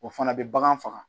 O fana bɛ bagan faga